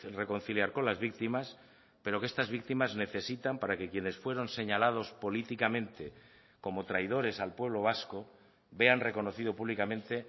reconciliar con las víctimas pero que estas víctimas necesitan para que quienes fueron señalados políticamente como traidores al pueblo vasco vean reconocido públicamente